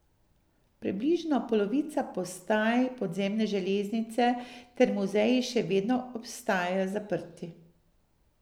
Približno polovica postaj podzemne železnice ter muzeji še vedno ostajajo zaprti.